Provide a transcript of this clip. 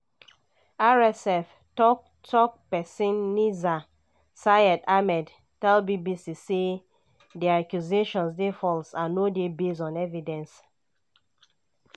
rsf tok-tok pesin nizar sayed ahmed tell bbc say "di accusation dey false and no dey based on evidence.